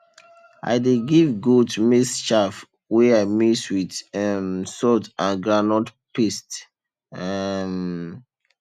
i dey give goat maize chaff wey i mix with um salt and groundnut paste um